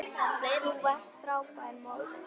Þú varst frábær móðir.